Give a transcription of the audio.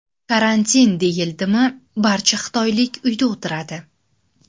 Karantin deyildimi barcha xitoylik uyda o‘tiradi.